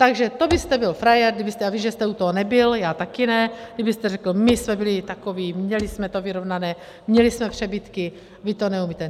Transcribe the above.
Takže to byste byl frajer, kdybyste - já vím, že jste u toho nebyl, já taky ne - kdybyste řekl, my jsme byli takoví, měli jsme to vyrovnané, měli jsme přebytky, vy to neumíte.